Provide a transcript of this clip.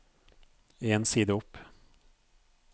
En side opp